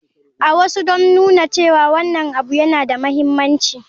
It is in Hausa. A wasu don nuna cewa wannan abu yana da mahimmanci.